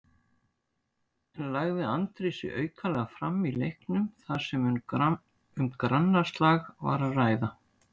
En lagði Andri sig aukalega fram í leiknum þar sem um grannaslag var að ræða?